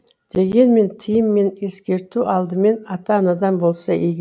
дегенмен тыйым мен ескерту алдымен ата анадан болса игі